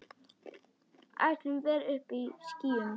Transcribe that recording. Áætluð vél uppí skýjum.